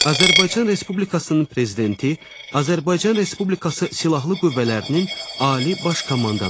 Azərbaycan Respublikasının Prezidenti Azərbaycan Respublikası Silahlı Qüvvələrinin Ali Baş Komandanıdır.